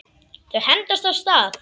Þau hendast af stað.